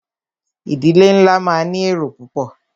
Ìdílé nlá máà ní èrò púpọ̀.